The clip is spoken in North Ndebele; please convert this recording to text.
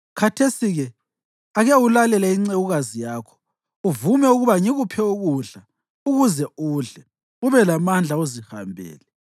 Khathesi-ke ake ulalele incekukazi yakho uvume ukuba ngikuphe ukudla ukuze udle ube lamandla uzihambele.”